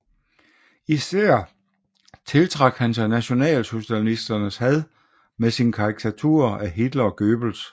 Især tiltrak han sig nationalsocialisternes had med sine karikaturer af Hitler og Goebbels